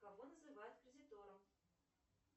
кого называют кредитором